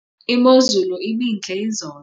imozulu ibintle izolo